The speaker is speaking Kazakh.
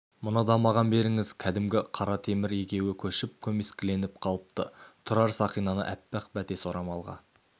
мұны да маған беріңіз кәдімгі қара темір егеуі көшіп көмескіленіп қалыпты тұрар сақинаны аппақ бәтес орамалға